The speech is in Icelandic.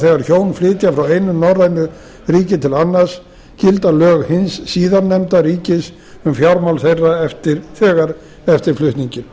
þegar hjón flytja frá einu norrænu ríki til annars gilda lög hins síðarnefnda ríkis um fjármál þeirra þegar eftir flutninginn